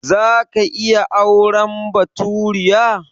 Za ka iya auren baturiya?